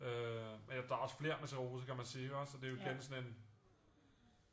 Men der er jo også flere med sklerose kan man sige ikke også så det igen sådan en